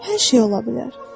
Hər şey ola bilər.